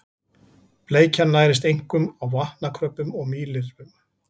Bleikjan nærist einkum á vatnakröbbum og mýlirfum.